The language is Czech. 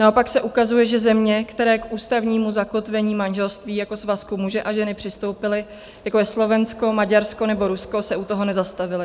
Naopak se ukazuje, že země, které k ústavnímu zakotvení manželství jako svazku muže a ženy přistoupily, jako je Slovensko, Maďarsko nebo Rusko, se u toho nezastavily.